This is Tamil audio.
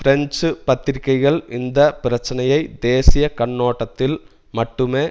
பிரெஞ்சு பத்திரிகைகள் இந்த பிரச்சனையை தேசிய கண்ணோட்டத்தில் மட்டுமே